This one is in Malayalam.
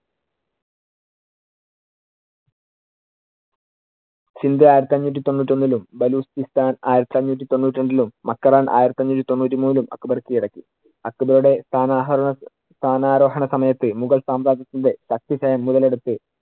ആയിരത്തി അഞ്ഞൂറ്റി തൊണ്ണൂറ്റിയൊന്നിലും ബലൂക്കിസ്താന്‍ ആയിരത്തി അഞ്ഞൂറ്റി തൊണ്ണൂറ്റിരണ്ടിലും മക്രാൻ ആയിരത്തി അഞ്ഞൂറ്റി തൊണ്ണൂറ്റിമൂന്നിലും അക്ബർ കിഴടക്കി. അക്ബറുടെ സ്ഥനാഹോ~ സ്ഥാനാരോഹണ സമയത്ത് മുഗൾ സാമ്രാജ്യത്തിന്‍റെ മുതലെടുത്ത്